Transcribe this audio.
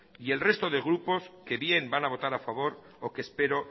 y el resto de grupos que bien van a votar a favor o que espero